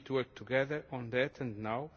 We need to work together on that, and now.